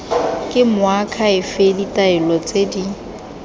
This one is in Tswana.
ke moakhaefe ditaelo tse di